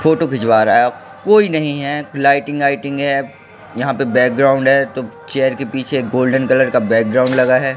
Photo खिंचवा रहा है कोई नहीं है लाइटिंग वाईटिंग है यहां पे बैकग्राउंड है तो चेयर के पीछे गोल्डन कलर का बैकग्राउंड लगा है।